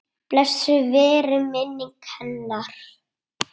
Blessuð veri minning hennar.